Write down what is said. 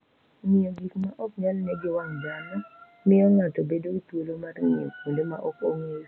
Ng'iyo gik maok nyal ne gi wang' dhano miyo ng'ato bedo gi thuolo mar ng'iyo kuonde maok ong'eyo.